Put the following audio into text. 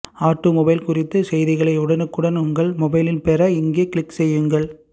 automobile குறித்த செய்திகளை உடனுக்குடன் உங்கள் மொபைலில் பெற இங்கே கிளிக் செய்யுங்கள்